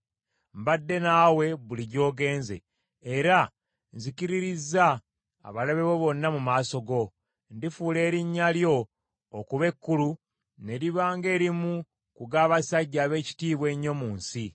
Mbadde naawe buli gy’ogenze, era nzikiririzza abalabe bo bonna mu maaso go. Ndifuula erinnya lyo okuba ekkulu, ne liba ng’erimu ku g’abasajja ab’ekitiibwa ennyo mu nsi.